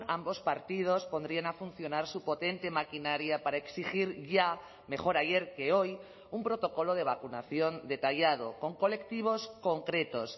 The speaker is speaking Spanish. ambos partidos pondrían a funcionar su potente maquinaria para exigir ya mejor ayer que hoy un protocolo de vacunación detallado con colectivos concretos